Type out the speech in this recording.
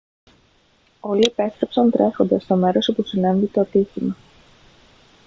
όλοι επέστρεψαν τρέχοντας στο μέρος όπου συνέβη το ατύχημα